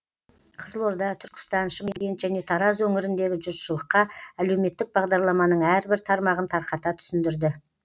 қызылорда түркістан шымкент және тараз өңіріндегі жұртшылыққа әлеуметтік бағдарламаның әрбір тармағын тарқата түсіндірді